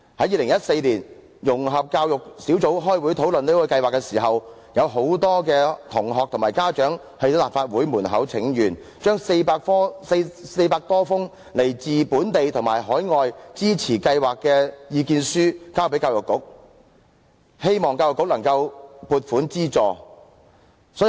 2014年，融合教育小組委員會開會討論這項計劃時，有很多同學和家長在立法會門外請願，將400多封來自本地和海外支持計劃的意見書交給教育局，希望教育局能夠撥款資助。